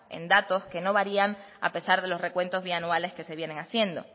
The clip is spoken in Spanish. en datos que no varían a pesar de los recuentos bianuales que se vienen haciendo